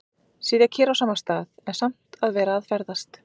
Sitja kyrr á sama stað, en samt að vera að ferðast.